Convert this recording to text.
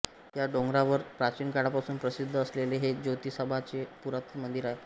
या डोंगरावर प्राचीन काळापासून प्रसिद्ध असलेले हे ज्योतिबाचे पुरातन मंदिर आहे